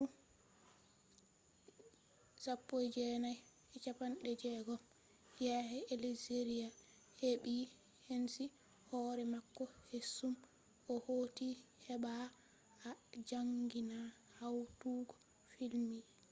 zamanu 1960 yakke algeria heɓɓi enci hoore mako keesum o hooti heɓɓba o jaangina hawtugo filmji